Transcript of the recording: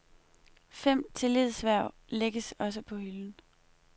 Fem tillidshverv lægges også på hylden.